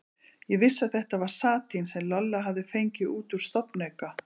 Ég vissi að þetta var satín sem Lolla hafði fengið út á stofnauka.